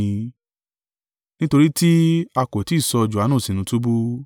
(Nítorí tí a kò tí ì sọ Johanu sínú túbú).